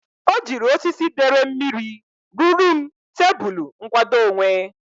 O jiri osisi dere mmiri ruru m tebulu nkwadoonwe.